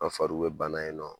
An fariw bɛ bana yen nɔ